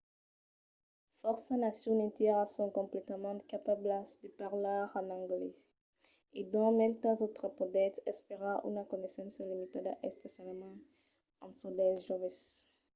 fòrça nacions entièras son completament capablas de parlar en anglés e dins maitas autras podètz esperar una coneissença limitada - especialament en çò dels joves